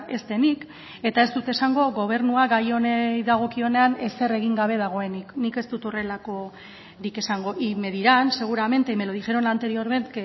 ez denik eta ez dut esango gobernua gai honi dagokionean ezer egin gabe dagoenik nik ez dut horrelakorik esango y me dirán seguramente y me lo dijeron la anterior vez